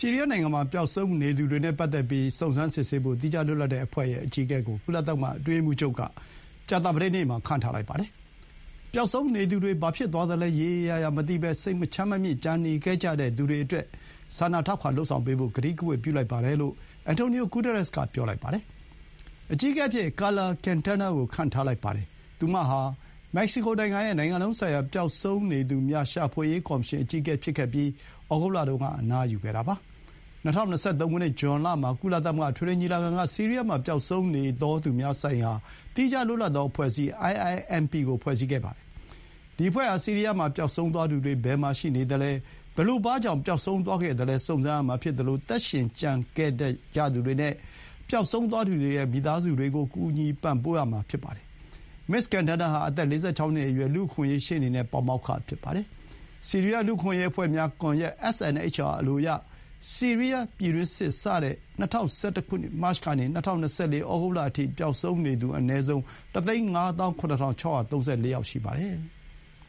ီးရီးယား နိုင်ငံမှာ ပျောက်ဆုံးနေသူတွေ ကို စုံစမ်းဖို့၊ သီးခြား လွတ်လပ်တဲ့ အဖွဲ့ရဲ့ အကြီးအကဲကို ကုလသမဂ္ဂ အတွင်းရေးမှူုးချုပ်က ကြာသပတေးနေ့မှာ ခန့်ထားလိုက်ပါတယ်။ ပျောက်ဆုံးနေသူတွေ ဘာဖြစ်သွားသလဲ ရေရေရာရာ မသိဘဲ စိတ်မချမ်းမမြေ့ ကျန်နေခဲ့ကြသူတွေအတွက် စာနာထောက်ခံ လုပ်ဆောင်ပေးဖို့ ကတိကဝတ် ပြုလိုက်ပါတယ်လို့ Antonio Guterres က ပြောပါတယ်။ အကြီးအကဲအဖြစ် ကာလာ ကင်တားနား ကို ခန့်ထားလိုက်ပါတယ်။ သူမဟာ မက္ကဆီကို နိုင်ငံရဲ့ နိုင်ငံလုံးဆိုင်ရာ ပျောက်ဆုံးသူများ ရှာဖွေရေး ကော်မရှင် အကြီးအကဲ ဖြစ်ခဲ့ပြီး၊ ဩဂုတ်လတုန်းက အနားယူခဲ့တာပါ။ ၂၀၂၃ ဇွန်လမှာ ကုလသမဂ္ဂ အထွေထွေ ညီလာခံက ဆီးရီးယားမှာ ပျောက်ဆုံးနေသောသူများဆိုင်ရာ သီးခြား လွတ်လပ်သော အဖွဲ့အစည်း IIMP ကို ဖွဲ့စည်းခဲ့ပါတယ်။ ဒီအဖွဲ့ဟာ ဆီးရီးယား မှာ ပျောက်ဆုံးသွားသူတွေ ဘယ်မှာ ရှိနေသလဲ၊ ဘယ်လို ဘာကြောင့် ပျောက်ဆုံးသွားခဲ့သလဲ စုံစမ်းရမှာ ဖြစ်သလို၊ သက်ရှင်ကျန်ခဲ့ကြသူတွေ နဲ့ ပျောက်ဆုံး သွားသူတွေရဲ့ မိသားစုတွေကို ပံ့ပိုးကူညီရမှာ ဖြစ်ပါတယ်။ မစ္စ ကင်တားနား ဟာ အသက် ၄၆ နှစ်အရွယ် လူ့အခွင့်အရေး ရှေ့နေနဲ့ ပါမောက္ခ ဖြစ်ပါတယ်။ ဆီးရီးယား လူ့အခွင့်အရေး အဖွဲ့များ ကွန်ယက် SNHR အလိုအရ၊ ဆီးရီးယား ပြည်တွင်းစစ် စတဲ့ ၂၀၁၁ မတ်ကနေ ၂၀၂၄ ဩဂုတ်အထိ ပျောက်ဆုံးနေသူ အနည်းဆုံး ၁၅၇၆၃၄ ယောက် ရှိပါတယ်။